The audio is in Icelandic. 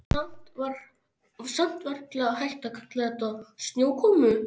Samt varla hægt að kalla þetta snjókomu.